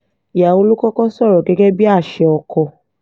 ìyàwó ló kọ́kọ́ sọ̀rọ̀ gẹ́gẹ́ bíi àṣẹ ọkọ